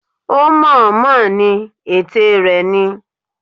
Ó mọ̀-ọ́n-mọ̀ ni, ète rẹ ni.